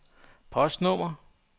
postnummer